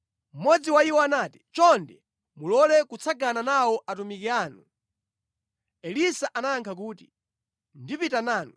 Mmodzi wa iwo anati, “Chonde mulole kutsagana nawo atumiki anu.” Elisa anayankha kuti, “Ndipita nanu.”